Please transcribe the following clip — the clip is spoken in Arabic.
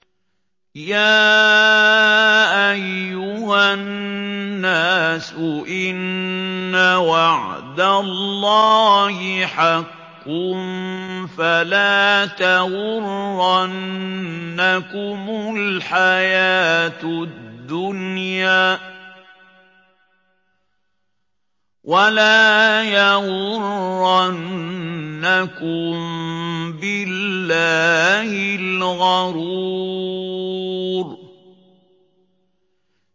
يَا أَيُّهَا النَّاسُ إِنَّ وَعْدَ اللَّهِ حَقٌّ ۖ فَلَا تَغُرَّنَّكُمُ الْحَيَاةُ الدُّنْيَا ۖ وَلَا يَغُرَّنَّكُم بِاللَّهِ الْغَرُورُ